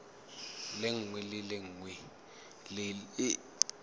lengwe le lengwe le le